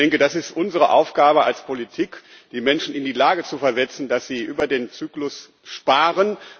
Ich denke, das ist unsere Aufgabe als Politik, die Menschen in die Lage zu versetzen, dass sie über den Zyklus sparen.